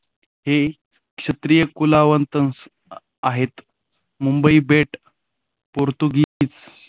हे क्षत्रिय कुलावतंस आहेत मुंबई बेट पोर्तुगीज.